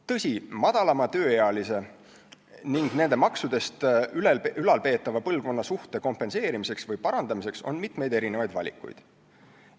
Tõsi, tööealise põlvkonna ja nende maksudest ülalpeetava põlvkonna suhte kompenseerimiseks või parandamiseks on mitmeid valikuid.